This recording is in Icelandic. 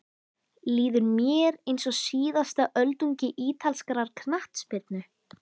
Líður mér eins og síðasta öldungi ítalskrar knattspyrnu?